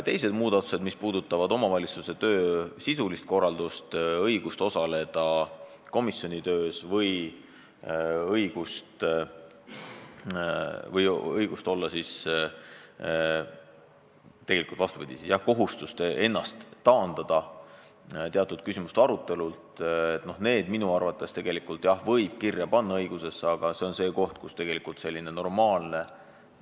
Teised muudatused, mis puudutavad omavalitsuse töö sisulist korraldust, õigust osaleda komisjonide töös ja kohustust ennast teatud küsimuste arutelult taandada – need asjad võib ju seadusse kirja panna, aga tegelikult võiks lähtuda tervest mõistusest.